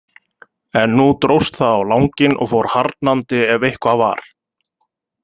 En nú dróst það á langinn og fór harðnandi ef eitthvað var.